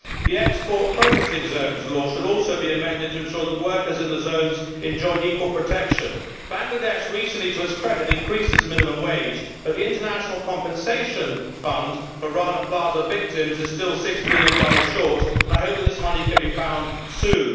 The Export Processing Zones Law should also be amended to ensure that workers in the zones enjoy equal protection. Bangladesh recently, to its credit, increased its minimum wage, but the international compensation fund for Rana Plaza victims is still USD 6 million short and I hope that this money can be found soon.